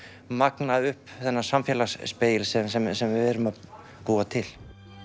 magna upp þennan sem við erum að búa til